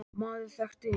Maður þekkti engan.